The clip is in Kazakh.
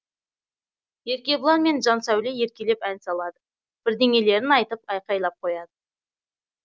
еркебұлан мен жансәуле еркелеп ән салады бірдеңелерін айтып айқайлап қояды